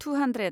two hundred